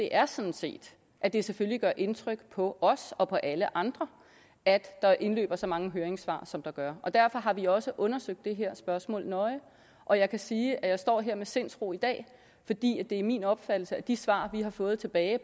er sådan set at det selvfølgelig gør indtryk på os og på alle andre at der indløber så mange høringssvar som der gør derfor har vi også undersøgt det her spørgsmål nøje og jeg kan sige at jeg står her med sindsro i dag fordi det er min opfattelse at de svar vi har fået tilbage